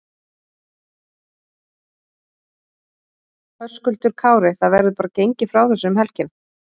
Höskuldur Kári: Það verður bara gengið frá þessu um helgina?